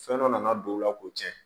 Fɛn dɔ nana don o la k'o tiɲɛ